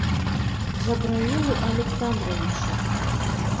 джабраилу александровичу